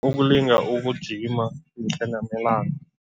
Ukulinga ukujima mihla namalanga.